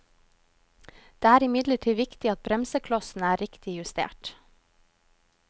Det er imidlertid viktig at bremseklossene er riktig justert.